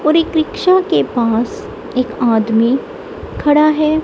और एक रिक्शा के पास एक आदमी खड़ा है।